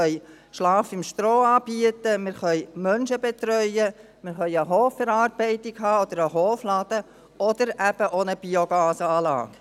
Wir können «Schlafen im Stroh» anbieten, wir können Menschen betreuen, wir können eine Hofverarbeitung oder einen Hofladen haben, oder eben auch eine Biogasanlage.